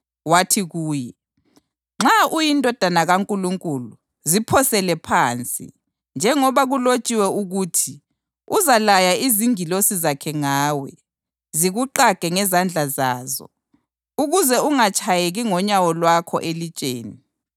Wathi kuye, “Nxa uyiNdodana kaNkulunkulu, ziphosele phansi. Njengoba kulotshiwe ukuthi: ‘Uzalaya izingilosi zakhe ngawe, zikuqage ngezandla zazo, ukuze ungatshayeki ngonyawo lwakho elitsheni.’ + 4.6 AmaHubo 91.11-12”